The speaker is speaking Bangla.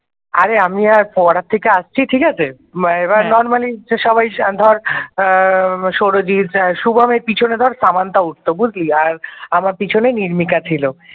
আমি আর ও পড়ার থেকে আসছি ঠিক আছে এবার normally সবাই ধর সৌরজিৎ শুভম এর পিছনে ধর সামান্থা উঠত বুঝলি আমার পিছনে নির্মিকা ছিল।